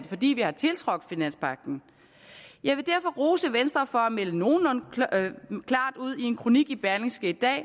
fordi vi har tiltrådt finanspagten jeg vil derfor rose venstre for at melde nogenlunde klart ud i en kronik i berlingske i dag